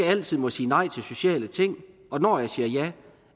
altid må sige nej til sociale ting og når jeg siger ja